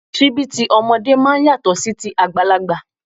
Síbí tí ọmọdé máa ń yàtọ̀ sí ti àgbàlagbà